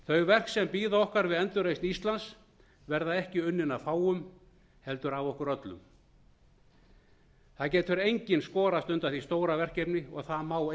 þau verk sem bíða okkar við endurreisn íslands verða ekki unnin af fáum heldur af okkur öllum það getur enginn skorast undan því stóra verkefni og það má